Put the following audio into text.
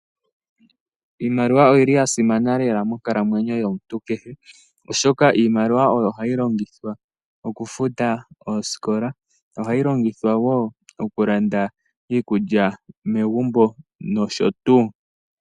Iimaliwa oya simana lela monkalamwenyo yomuntu kehe, oshoka iimaliwa oyo hayi longithwa okufuta oosikola ohayi longithwa wo okulanda iikulya megumbo nosho tuu.